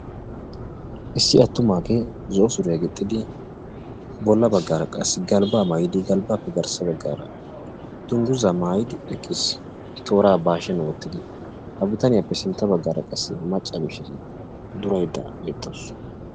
issi attumaage zo'o suriyaa gixxidi bolla baggara qa galbba maayyidi galbbappe garssa baggara dungguza maayyidi eqqiis; toora ba hashsiyaan woottidi ha bitaniyaappe garssa baggara macca mishiriyaa duraydda beettawus.